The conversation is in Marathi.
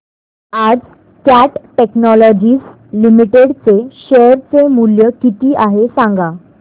आज कॅट टेक्नोलॉजीज लिमिटेड चे शेअर चे मूल्य किती आहे सांगा